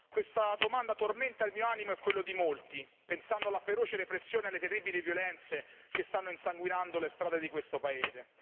Questa domanda tormenta il mio animo e quello di molti, pensando alla feroce repressione e alle terribili violenze che stanno insanguinando le strade di questo Paese.